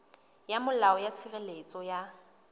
ya molao ya tshireletso ya